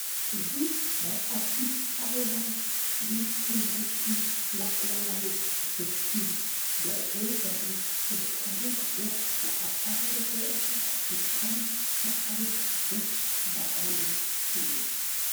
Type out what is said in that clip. እዙ ናይ ኣዲስ ኣበባ ቤትምህርቲ ላዕለዋይ ብርኪ መእተዊ በሪ እንትኸውን ከሎ ብኣሣራርሕዑካ ብጥዓሚ ሰሓብን ደስ በሃልን እዩ።